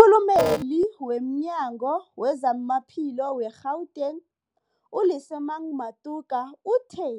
Umkhulumeli womNyango weZamaphilo we-Gauteng, u-Lesemang Matuka uthe